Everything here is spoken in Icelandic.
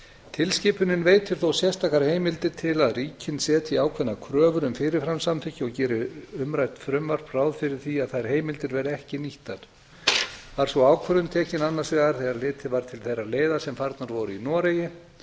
tilskipunin veitir þó sérstakar heimildir til að ríkin setji ákveðnar kröfur um fyrirframsamþykki og gerir umrætt frumvarp ráð fyrir því að þær heimildir verði ekki nýttar var sú ákvörðun tekin annars vegar þegar litið var til þeirrar leiðar sem farnar voru í noregi